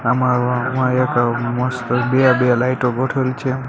આમાં આમાં એક મસ્ત બે-બે લાઈટો ગોઠવેલી છે.